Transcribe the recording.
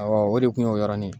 Awɔ o de kun y'o yɔrɔnin ye.